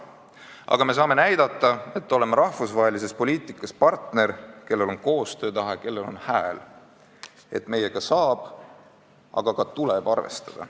Aga me saame näidata, et oleme rahvusvahelises poliitikas partner, kellel on koostöötahe ja kellel on hääl, et meiega saab, aga ka tuleb arvestada.